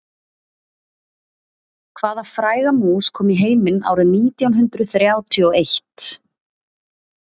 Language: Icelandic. Hvaða fræga mús kom í heiminn árið nítján hundruð þrjátíu og eitt?